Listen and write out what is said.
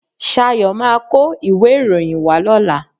Ṣayo máa kó ìwé ìròyìn wá lóla?